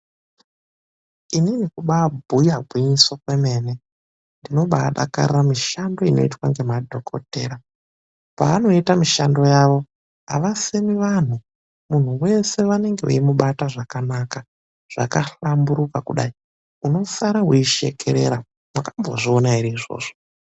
Inini Kuba abhuya gwinyiso remene ndinobatodakarira mishando inoitwa nemadhokoteya ,panoita mishando yavo havasemi vandu mundu weshe anenge achibatwa zvakanaka zvakahlamburuka kudai unosara weishekerera. Makambozviona here izvozvo